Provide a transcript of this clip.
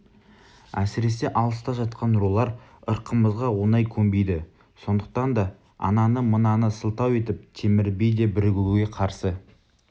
әсіресе алыста жатқан рулар ырқымызға оңай көнбейді сондықтан да ананы мынаны сылтау етіп темір би де бірігуге қарсы